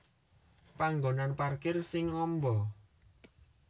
Panggonan parkir sing amba